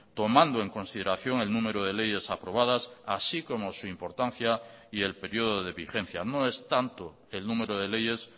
tomando en consideración el número de leyes aprobadas así como su importancia y el periodo de vigencia no es tanto el número de leyes